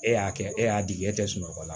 E y'a kɛ e y'a di e tɛ sunɔgɔ la